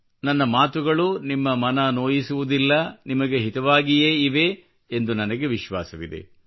ನನ್ನ ಮಾತುಗಳು ನಿಮ್ಮ ಮನ ನೋಯಿಸುವುದಿಲ್ಲ ನಿಮಗೆ ಹಿತವಾಗಿಯೇ ಇವೆ ಎಂದು ನನಗೆ ವಿಶ್ವಾಸವಿದೆ